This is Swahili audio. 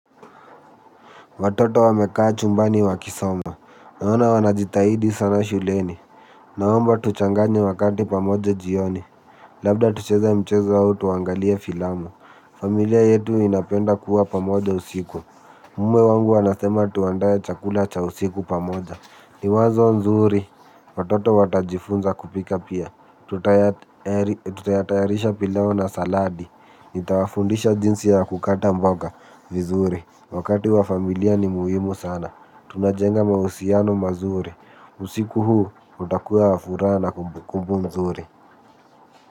Watoto wamekaa chumbani wakisoma, naona wanajitahidi sana shuleni. Naomba tuchanganye wakati pamoja jioni, labda tucheze mchezo au tuangalie filamu. Familia yetu inapenda kuwa pamoja usiku, umwe wangu anasema tuandae chakula cha usiku pamoja. Ni wazo nzuri, watoto watajifunza kupika pia, tutayatayarisha pilau na saladi. Nitawafundisha jinsi ya kukata mboga vizuri. Wakati wa familia ni muhimu sana. Tunajenga mahusiano mazuri. Usiku huu utakuwa wa furaha na kumbukumbu nzuri.